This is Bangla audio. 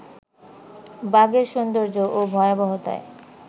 বাঘের সৌন্দর্য ও ভয়াবহতার